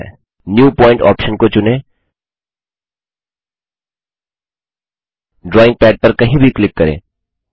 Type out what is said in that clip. new point option को चुनें drawing pad पर कहीं भी क्लिक करें